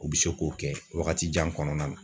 O bi se k'o kɛ wagati jan kɔnɔna na